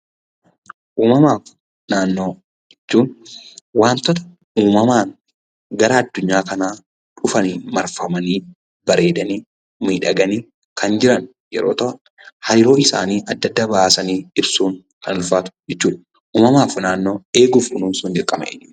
Uumamaa fi naannoo jechuun wantoota uumamaan gara addunyaa kanaa dhufanii marfamanii, bareedanii, miidhaganii, kan jiran yeroo ta'u, hariiroo isaanii adda adda baasanii ibsuun kan ulfaatu jechuu dha. Uumamaa fi naannoo eeguu fi kunuunsuun dirqama eenyuuti?